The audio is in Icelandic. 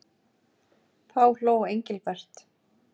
Þá hló Engilbert.